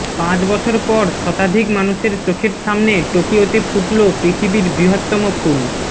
পাঁচ বছর পর শতাধিক মানুষের চোখের সামনে টোকিয়োতে ফুটল পৃথিবীর বৃহত্তম ফুল